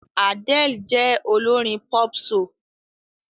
Adele jẹ́ olórin pop-soul.